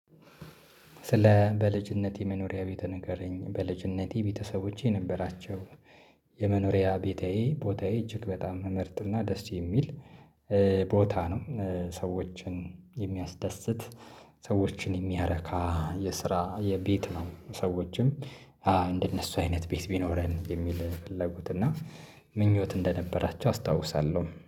ስለ በልጅነቴ መኖሪያ ቤትህ ንገረኝ በልጅነቴ ቤተሰቦቼ ነበራቸው። የመኖሪያ ቤታዬ ቦታዬ እጅግ በጣም ምመርጥና ደስ የሚል ቦታ ነው። ሰዎችን የሚያስደስት። ሰዎችን የሚያረካ የስራ የቤት ነው። ሰዎችም አዎ እንደነሱ አይነት ቤት ቢኖረን የሚል ፍላጎት እና ምኞት እንደነበራቸው አስታውሳለሁ